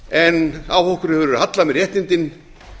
en á okkur hefur verið hallað með réttindin